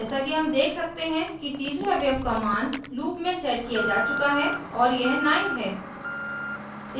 जैसा कि हम देख सकते हैं कि तीसरे अवयव का मान loop में set किया जा चुका है और यह 9 है